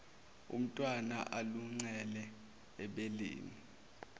umntwana aluncele ebeleni